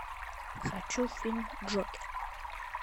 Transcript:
хочу фильм джокер